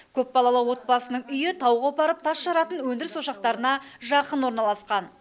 көпбалалы отбасының үйі тау қопарып тас жаратын өндіріс ошақтарына жақын орналасқан